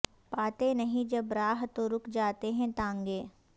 پاتے نہیں جب راہ تو رک جاتے ہیں تانگے